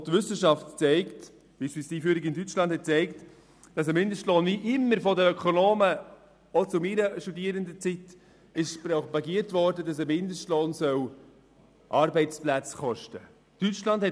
Die Wissenschaft belegt, dass die Einführung eines Mindestlohnes – wie schon immer von Ökonomen auch aus meiner Zeit propagiert – nicht mit dem Verlust von Arbeitsplätzen einhergehen muss.